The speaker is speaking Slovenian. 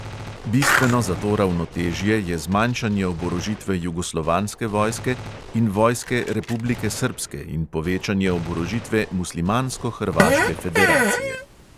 Bistveno za to ravnotežje je zmanjšanje oborožitve jugoslovanske vojske in vojske republike srbske in povečanje oborožitve muslimansko-hrvaške federacije.